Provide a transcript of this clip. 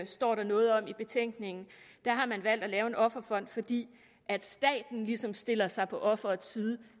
står der noget om i betænkningen har man valgt at lave en offerfond fordi staten ligesom stiller sig på offerets side